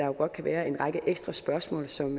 jo godt kan være en række ekstra spørgsmål som